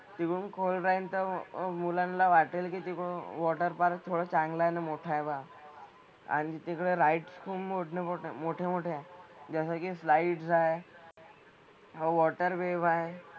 Swimming खोल राहील तर मुलांना वाटेल की ते मग वॉटर पार्क थोडं चांगलं न मोठं आहे पहा. आणि तिकडं राइड्स खूप मोठ्यामोठ्या मोठ्यामोठ्या आहेत. जसं कि स्लाईडस आहे, मग वॉटर वेव्ह आहे.